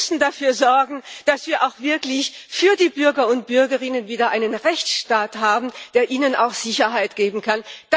Wir müssen dafür sorgen, dass wir auch wirklich für die Bürger und Bürgerinnen wieder einen Rechtsstaat haben, der ihnen auch Sicherheit geben kann.